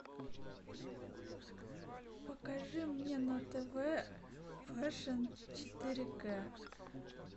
покажи мне на тв фэшн четыре к